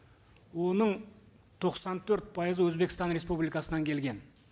оның тоқсан төрт пайызы өзбекстан республикасынан келген